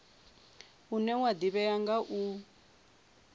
une wa ḓivhea nga u